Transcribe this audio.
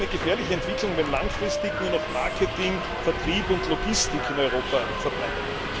Es ist eine gefährliche Entwicklung, wenn langfristig nur noch Marketing, Vertrieb und Logistik in Europa verbleiben.